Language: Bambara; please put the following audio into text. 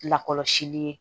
Lakɔlɔsili ye